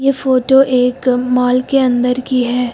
ये फोटो एक मॉल के अंदर की है।